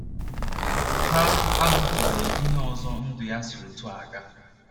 Ha ahụtụbeghị ihe ọzọ ndụ ya si otú a aga.